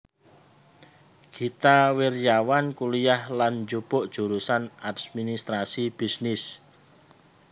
Gita Wirjawan kuliyah lan njupuk jurusan administrasi bisnis